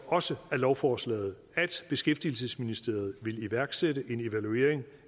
også af lovforslaget at beskæftigelsesministeriet vil iværksætte en evaluering